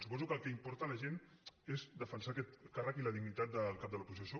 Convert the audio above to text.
suposo que el que importa la gent és defensar aquest càrrec i la dignitat del cap de l’oposició